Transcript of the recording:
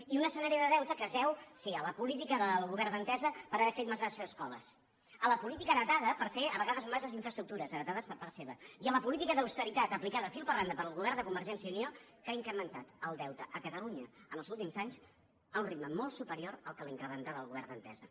i un escenari de deute que es deu sí a la política del govern d’entesa per haver fet massa escoles a la política heretada per fer a vegades massa infraestructures heretades per part seva i a la política d’austeritat aplicada fil per randa pel govern de convergència i unió que ha incrementat el deute a catalunya en els últims anys a un ritme molt superior al que l’incrementava el govern d’entesa